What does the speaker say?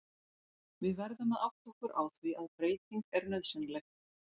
Við verðum að átta okkur á því að breyting er nauðsynleg.